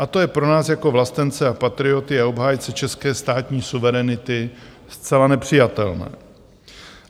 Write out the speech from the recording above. A to je pro nás jako vlastence a patrioty a obhájce české státní suverenity zcela nepřijatelné.